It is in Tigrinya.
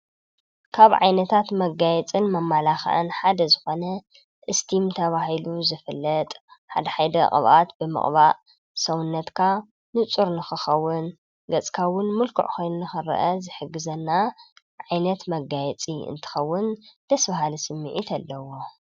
ካብ ዓይነታት መጋየፂታት መማላኪዕን ሓደ ዝኮነ እስቲም ተባሂሉ ዝፍለጥ ሓደ ሓደ ቅብኣት ብምቅባእ ሰዉነትካ ንፁር ንከከዉን ገፅካ እዉን ምልኩዕ ኮይኑ ንክረአ ዝሕግዘና ዓይነት መጋየፂ እንትከዉን ደስ ብሃሊ ስሚዒት ኣለዎ።